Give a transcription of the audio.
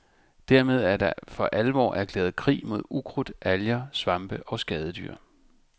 Dermed er der for alvor erklæret krig mod ukrudt, alger, svampe og skadedyr.